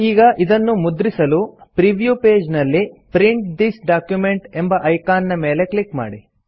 ಈಗ ಇದನ್ನು ಮುದ್ರಿಸಲು ಪ್ರೀವ್ಯೂ ಪೇಜ್ ನಲ್ಲಿ ಪ್ರಿಂಟ್ ಥಿಸ್ ಡಾಕ್ಯುಮೆಂಟ್ ಎಂಬ ಐಕಾನ್ ನ ಮೇಲೆ ಕ್ಲಿಕ್ ಮಾಡಿ